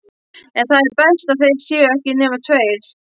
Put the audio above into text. En það er best að það séu ekki nema tveir.